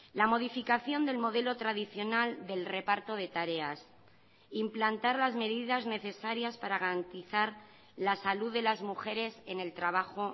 la modificación del modelo tradicional del reparto de tareas implantar las medidas necesarias para garantizar la salud de las mujeres en el trabajo